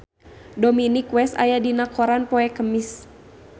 Dominic West aya dina koran poe Kemis